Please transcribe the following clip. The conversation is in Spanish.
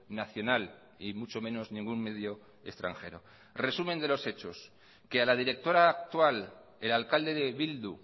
nacional y mucho menos ningún medio extranjero resumen de los hechos que a la directora actual el alcalde de bildu